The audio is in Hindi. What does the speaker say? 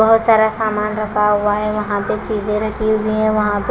बहोत सारा सामान रखा हुआ है वहां पे चीजें रखी हुई हैं वहां पे--